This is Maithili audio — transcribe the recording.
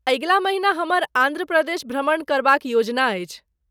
अगिला महिना हमर आन्ध्र प्रदेश भ्रमण करबाक योजना अछि।